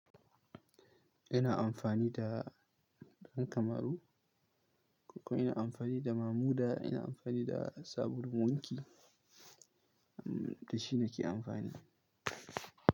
Ina amfani da ɗan kamaru, kuma ina amfani da mamuda, ina amfani da sabulu wanki, da shi nake amfani.